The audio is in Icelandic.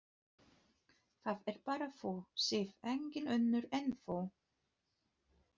Það ert bara þú, Sif, engin önnur en þú!